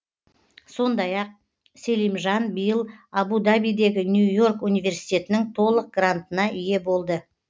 сондай ақ селимжан биыл абу дабидегі нью и орк университетінің толық грантына ие болды